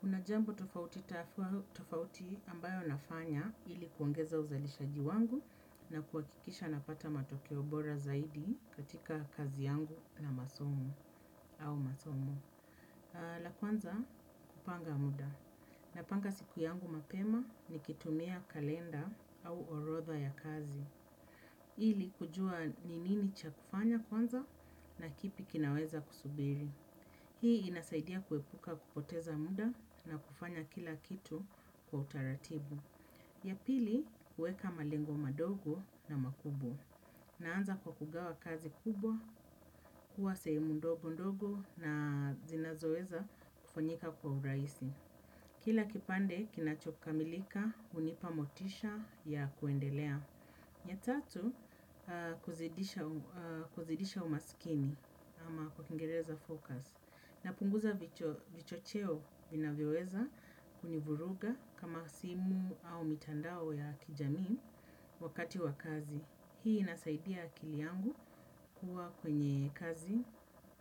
Kuna jambo tofauti ambayo nafanya ili kuongeza uzalishaji wangu na kuhakikisha napata matokeo bora zaidi katika kazi yangu na masomo au masomo. La kwanza kupanga muda. Napanga siku yangu mapema nikitumia kalenda au orodha ya kazi. Ili kujua ni nini cha kufanya kwanza na kipi kinaweza kusubiri. Hii inasaidia kuepuka kupoteza muda na kufanya kila kitu kwa utaratibu. Ya pili, huweka malengo madogo na makubwa. Naanza kwa kugawa kazi kubwa, kuwa sehemu ndogo ndogo na zinazo weza kufanyika kwa urahisi. Kila kipande, kinachokamilika, hunipa motisha ya kuendelea. Ya tatu, kuzidisha umakini ama kwa kingereza focus. Napunguza vichocheo vinavyoweza kunivuruga kama simu au mitandao ya kijamii wakati wa kazi. Hii inasaidia akili yangu kuwa kwenye kazi,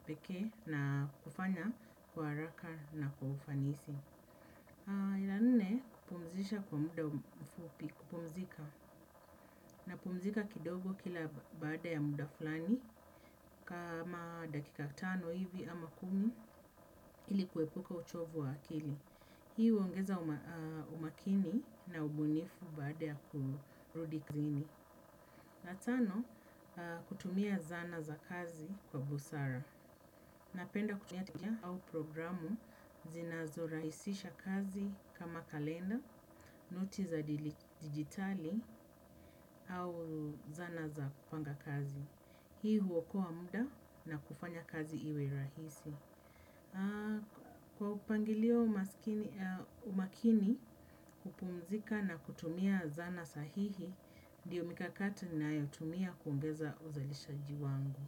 pekee na kufanya kwa haraka na kwa ufanisi. Ya nne, kupumzisha kwa muda mfupi, kupumzika. Napumzika kidogo kila baada ya muda fulani kama dakika tano hivi ama kumi ili kuepuka uchovu wa akili. Hii huongeza umakini na ubunifu baada ya kurudi klini. Ya tano kutumia zana za kazi kwa busara. Napenda kutumia tijia au programu zinazorahisisha kazi kama kalenda, noti za digitali au zana za kupanga kazi. Hii huokoa muda na kufanya kazi iwe rahisi. Kwa upangilio umakini kupumzika na kutumia zana sahihi, ndiyo mikakati ninayotumia kuongeza uzalishaji wangu.